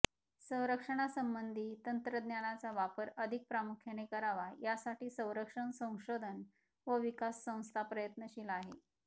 संरक्षणासंबंधी तंत्रज्ञानाचा वापर अधिक प्रामुख्याने करावा यासाठी संरक्षण संशोधन व विकास संस्था प्रयत्नशील आहे